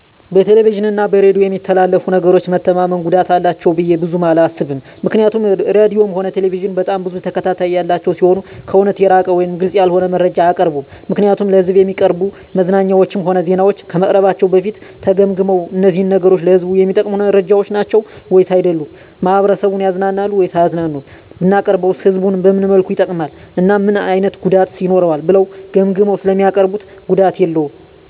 በቴሌቪዥን እና በሬዲዮ በሚተላለፉ ነገሮች መተማመን ጉዳት አላቸው ብዬ ብዙም አላስብም ምክንያቱም ራድዮም ሆነ ቴሌቪዥን በጣም ብዙ ተከታታይ ያላቸው ሲሆኑ ከእውነት የራቀ ወይም ግልፅ ያልሆነ መረጃ አያቀርቡም ምክንያቱም ለሕዝብ እሚቀርቡ መዝናኛዎችም ሆነ ዜናዎች ከመቅረባቸው በፊት ተገምግመው እነዚህ ነገሮች ለህዝቡ እሚጠቅሙ መረጃዎች ናቸው ወይስ አይደሉም፣ ማህበረሰቡን ያዝናናሉ ወይስ አያዝናኑም፣ ብናቀርበውስ ህዝቡን በምን መልኩ ይጠቅማል እና ምን አይነት ጉዳትስ ይኖረዋል ብለው ገምግመው ስለሚያቀርቡት ጉዳት የለውም።